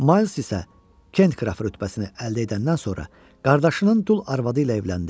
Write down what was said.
Mayls isə Kent qraf rütbəsini əldə edəndən sonra qardaşının dul arvadı ilə evləndi.